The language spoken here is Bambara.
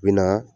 Bɛna